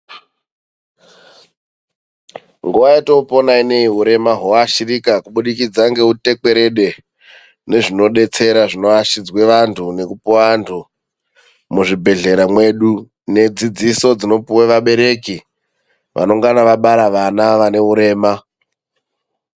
Nguwa yetopona ineyi urema ,hwoashirika kubudikidza ngeutekwerede nezvinodetsera zvinoashidzwe vanhu nekupuwa vanhu muzvibhedhlera mwedu nedzidziso dzinopuwa vabereki vanongana vabara vana vane urema.